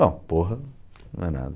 Bom, porra não é nada.